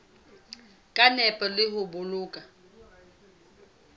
ka nepo le ho boloka